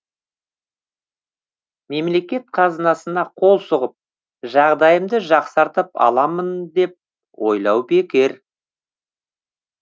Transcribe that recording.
мемлекет қазынасына қол сұғып жағдайымды жақсартып аламын деп ойлау бекер